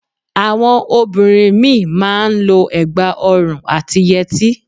Àwọn obìnrin mí ì má a n lo ẹ̀gbà ọrùn àti yẹtí